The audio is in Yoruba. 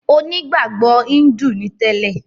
Onígbàgbọ̀ Híńdù ni tẹ́lẹ̀.